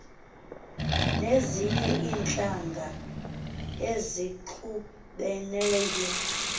nezinye iintlanga ezixubeneyo